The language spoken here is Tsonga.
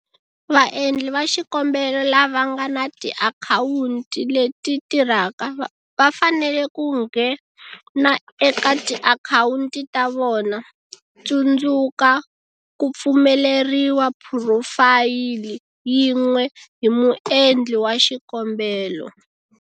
Vaendli va xikombelo lava nga na tiakhawunti leti tirhaka va fanele ku nghena eka tiakhawunti ta vona - tsundzuka, ku pfumeleriwa phurofayili yin'we hi muendli wa xikombelo.